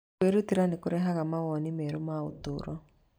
Kwĩrutĩra nĩ kũrehaga mawoni merũ ma ũtũũro.